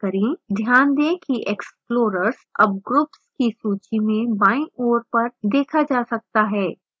ध्यान दें कि explorers अब groups की सूची में बायीं ओर पर देखा जा सकता है